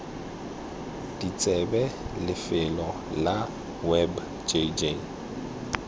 ditsebe lefelo la web jj